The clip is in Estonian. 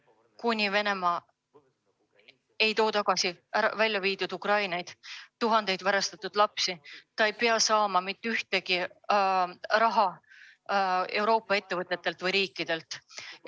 Kuni Venemaa ei too tagasi tuhandeid Ukrainast välja viidud varastatud lapsi, ei tohi ta saada mitte ühtegi senti Euroopa riikidelt ega ettevõtetelt.